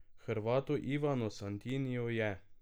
Hrvatu Ivanu Santiniju je!